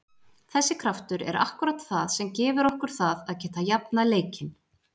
Þessi kraftur er akkúrat það sem gefur okkur það að geta jafnað leikinn.